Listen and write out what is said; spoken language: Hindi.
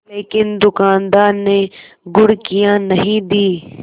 लेकिन दुकानदार ने घुड़कियाँ नहीं दीं